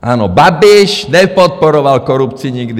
Ano, Babiš nepodporoval korupci nikdy.